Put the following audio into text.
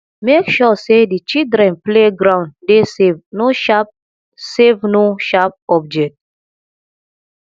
make sure sey di children play ground dey safe no sharp safe no sharp object